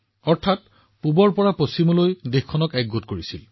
অৰ্থাৎ তেওঁলোকে দেশখনক পূবৰ পৰা পশ্চিমলৈ সংযোগ কৰি আছে